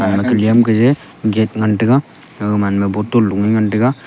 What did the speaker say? aganyem Kaye gate ngan taiga agaman ma bottle loe ngan taiga.